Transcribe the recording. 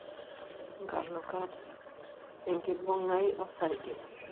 Nkalukat(enkibungai osarge)